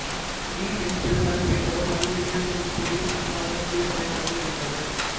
we N Chidambaram என்பவர் மதுரை மீனாட்சியம்மன் கோயில் அறங்காவலர் குழுத்தலைவராக இருந்தவர்